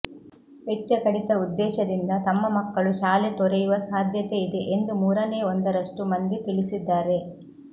ವೆಚ್ಚ ಕಡಿತ ಉದ್ದೇಶದಿಂದ ತಮ್ಮ ಮಕ್ಕಳು ಶಾಲೆ ತೊರೆಯುವ ಸಾಧ್ಯತೆ ಇದೆ ಎಂದು ಮೂರನೇ ಒಂದರಷ್ಟು ಮಂದಿ ತಿಳಿಸಿದ್ದಾರೆ